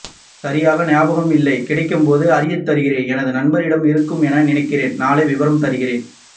ம் சரியாக ஞாபகம் இல்லை கிடைக்கும் போது அறியத்தருகிறேன் எனது நண்பனிடம் இருக்கும் என நினைக்கிறன் நாளை விபரம் தருகிறேன்